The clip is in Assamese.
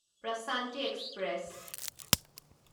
প্ৰশান্তি এক্সপ্ৰেছ